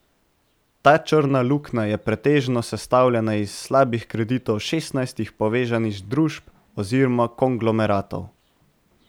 Ta črna luknja je pretežno sestavljena iz slabih kreditov šestnajstih povezanih družb oziroma konglomeratov.